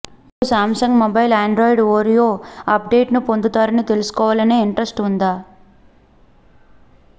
మీకు Samsung mobile Android Oreo అప్ డేట్ను పొందుతారని తెలుసుకోవాలనే ఇంట్రెస్ట్ ఉందా